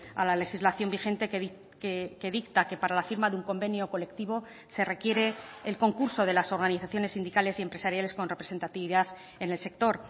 a la legislación vigente que dicta que para la firma de un convenio colectivo se requiere el concurso de las organizaciones sindicales y empresariales con representatividad en el sector